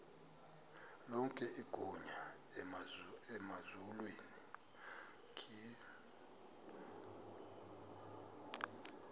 lonke igunya emazulwini